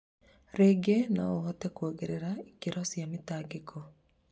rĩingĩ no kũhote kuongerera ikĩro cia mĩtangĩko.